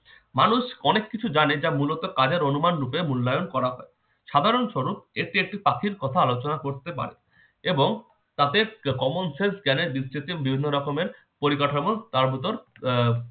মানুষ অনেক কিছু জানে যা মূলত কাজের অনুমান রূপে মূল্যায়ন করা হয়। সাধারণ স্বরুপ এটি একটি পাখির কথা আলোচনা করতে পারে এবং তাদের common sense জ্ঞানের ভিত্তিতে বিভিন্ন রকমের পরিকাঠামো তার ভিতর আহ